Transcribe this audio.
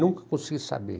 Nunca consegui saber.